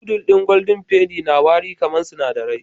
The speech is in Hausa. Noodle ɗin golden penny na wari kamar sinadarai